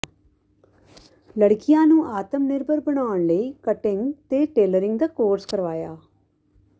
ਲੜਕੀਆਂ ਨੂੰ ਆਤਮ ਨਿਰਭਰ ਬਣਾਉਣ ਲਈ ਕਟਿੰਗ ਤੇ ਟੇਲਰਿੰਗ ਦਾ ਕੋਰਸ ਕਰਵਾਇਆ